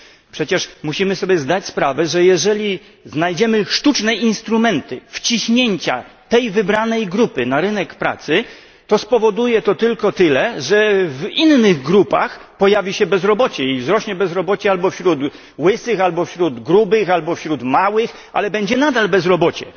Przecież musimy sobie zdać sprawę, że jeżeli znajdziemy sztuczne instrumenty wciśnięcia tej wybranej grupy na rynek pracy, to spowoduje tylko tyle, że w innych grupach pojawi się bezrobocie i wzrośnie bezrobocie albo wśród łysych, albo wśród grubych, albo wśród małych, ale nadal będzie to bezrobocie.